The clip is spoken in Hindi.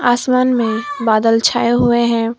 आसमान में बादल छाए हुए हैं।